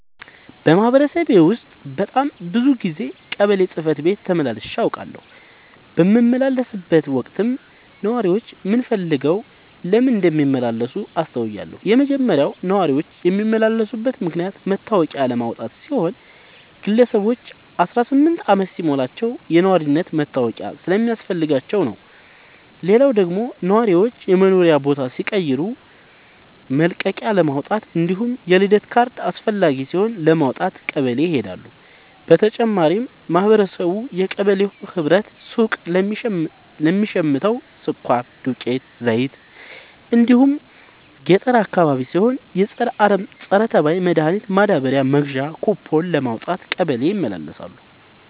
በማህበረሰቤ ውስጥ በጣም ብዙ ጊዜ ቀበሌ ጽህፈት ቤት ተመላልሼ አውቃለሁ። በምመላለስበትም ወቅት ነዋሪዎች ምን ፈልገው ለምን እንደሚመላለሱ አስተውያለሁ የመጀመሪያው ነዋሪዎች የሚመላለሱበት ምክንያት መታወቂያ ለማውጣት ሲሆን ግለሰቦች አስራስምንት አመት ሲሞላቸው የነዋሪነት መታወቂያ ስለሚያስፈልጋቸው ነው። ሌላው ደግሞ ነዋሪዎች የመኖሪያ ቦታ ሲቀይሩ መልቀቂያለማውጣት እንዲሁም የልደት ካርድ አስፈላጊ ሲሆን ለማውጣት ቀበሌ ይሄዳሉ። በተጨማሪም ማህበረቡ የቀበሌው ህብረት ሱቅ ለሚሸተው ስኳር፣ ዱቄት፣ ዘይት እንዲሁም ገጠር አካባቢ ሲሆን የፀረ አረም፣ ፀረተባይ መድሀኒት ማዳበሪያ መግዣ ኩቦን ለማውጣት ቀበሌ ይመላለሳሉ።